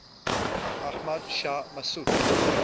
ahmad shah massoud